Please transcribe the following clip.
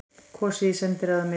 Kosið í sendiráðum ytra